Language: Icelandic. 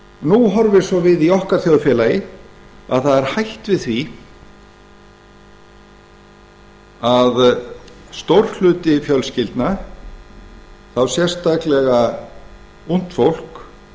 nú horfir svo við í okkar þjóðfélagi að það er hætt við því að stór hluti fjölskyldna þá sérstaklega ungt fólk